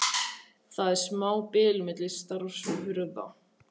Það var smábil milli stafs og hurðar.